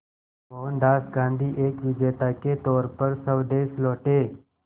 मोहनदास गांधी एक विजेता के तौर पर स्वदेश लौटे